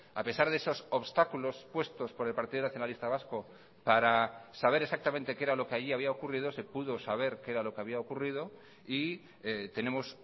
a pesar de esos obstáculos puestos por el partido nacionalista vasco para saber exactamente qué era lo que allí había ocurrido se pudo saber qué era lo que había ocurrido y tenemos